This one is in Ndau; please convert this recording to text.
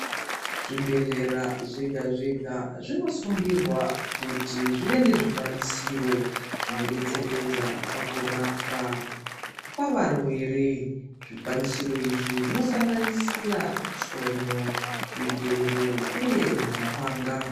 Zvibhedhlera zvega zvega zvinosungirwa kuti zvive nezvikwanisiro zvinodetseredza pakurapwa kwevarwere. Zvikwanisiro izvi zvinosanganisira tsono, zvigero uye mapanga.